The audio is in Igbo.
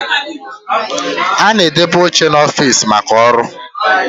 A na-edebe oche n'ọfiisi maka ọrụ